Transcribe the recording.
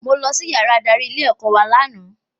Mo lọ sí yàrá adarí ilé ẹ̀kọ́ wa lànà